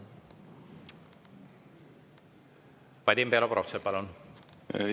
Vadim Belobrovtsev, palun!